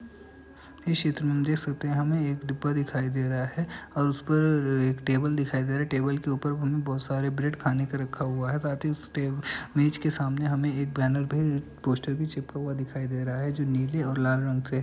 इस चित्र में हम देख सकते हैं हमे एक डिब्बा दिखाई दे रहा है और उस पर एक टेबल दिखाई दे रही है। टेबल के ऊपर हमें बहोत सारे ब्रेड खाने को रखा हुआ है साथ ही उस टेब मेज के सामने हमें एक बैनर भी पोस्टर भी चिपका हुआ दिखाई दे रहा है जो नीले और लाल रंग से --